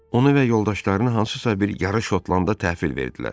Onu və yoldaşlarını hansısa bir yarış otdə təhvil verdilər.